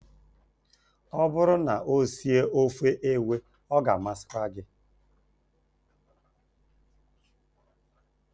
Ọ bụrụ na ọ sie ofe ewe, ọ ga-amasị gị